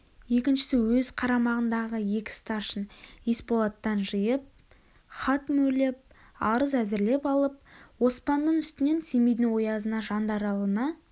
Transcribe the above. екіншісі өз қарамағындағы екі старшын есболаттан жиып хат мөрлеп арыз әзірлеп алып оспанның үстінен семейдің оязына жандаралына